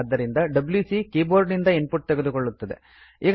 ಆದ್ದರಿಂದ WC keyboard ನಿಂದ input ತೆಗೆದುಕೊಳ್ಳುತ್ತದೆ